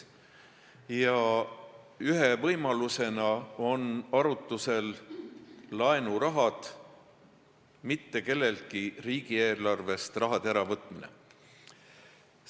Ja ühe võimalusena on arutusel laenuraha, mitte kelleltki riigieelarvest raha äravõtmine.